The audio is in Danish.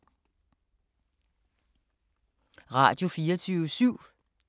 Radio24syv